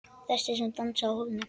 Þessi sem dansaði á hólnum.